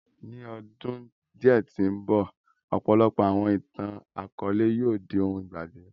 Ni ọ́dun diẹ̀ ti nbọ, ọ̀pọlọpọ̀ àwọn ìtan-àkọọlẹ yóò di óhun ìgbagbè